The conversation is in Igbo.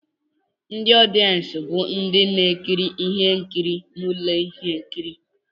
Ndị ọdịensị bụ ndị na-ekiri ihe nkiri na ụlọ ihe nkiri